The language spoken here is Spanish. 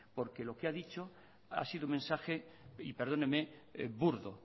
porque lo que ha dicho ha sido un mensaje y perdóneme burdo